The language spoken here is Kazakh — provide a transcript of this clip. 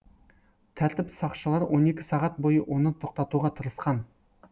тәртіп сақшылары он екі сағат бойы оны тоқтатуға тырысқан